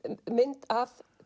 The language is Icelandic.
mynd af